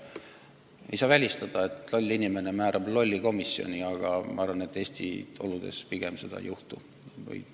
Muidugi ei saa välistada, et loll inimene määrab mõne lolli inimese komisjoni, aga ma arvan, et Eesti oludes seda ei juhtu.